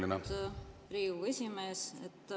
Aitäh, austatud Riigikogu esimees!